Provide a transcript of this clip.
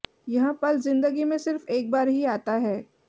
यह पल जिंदगी में सिर्फ एक बार ही आता है